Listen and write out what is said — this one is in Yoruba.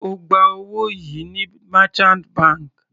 Sé ó gba owó yìí ní merchant bank?